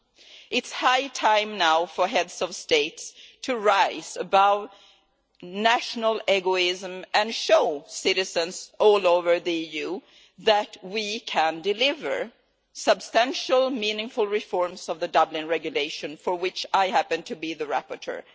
It is now high time for Heads of State to rise above national egoism and show citizens all over the EU that we can deliver substantial, meaningful reforms of the Dublin Regulation, for which I happen to be the rapporteur.